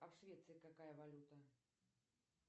а в швеции какая валюта